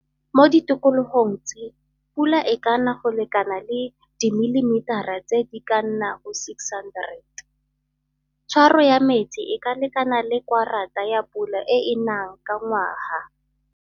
Mo ditikologong tse pula e ka na go lekana le dimilimetara tse di ka nnang 600, tshwaro ya metsi e ka lekana le kwarata ya pula e e nang ka ngwaga.